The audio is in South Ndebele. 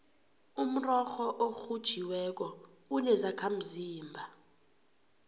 umrorho orhutjhiweko unezakhamzimba